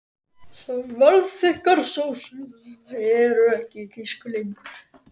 Svellþykkar sósur eru ekki í tísku lengur.